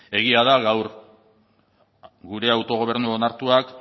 egia da gure autogobernu onartuak